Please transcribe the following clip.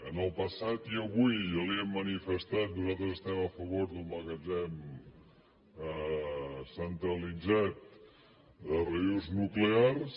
en el passat i avui ja li ho hem manifestat nosaltres estem a favor d’un magatzem centralitzat de residus nuclears